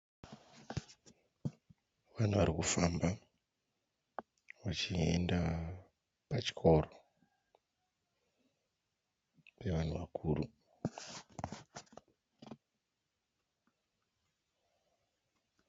Vanhu vari kufamba vachienda pachikoro pevanhu vakuru.